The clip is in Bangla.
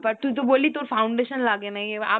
but তুই তো বললি তোর foundation লাগে না।